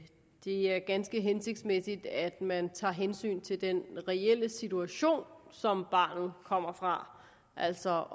det er ganske hensigtsmæssigt at man tager hensyn til den reelle situation som barnet kommer fra altså